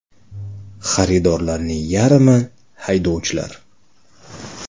Xaridorlarning yarmi haydovchilar.